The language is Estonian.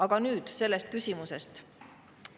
Aga nüüd sellest küsimusest.